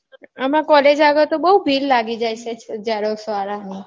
એમાં college આગળ તો બૌ ભીડ લાગી જાય છે xerox વાળાઓની